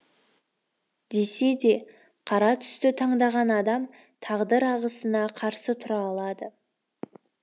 десе де қара түсті таңдаған адам тағдыр ағысына қарсы тұра алады